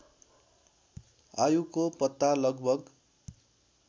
आयुको पत्ता लगभग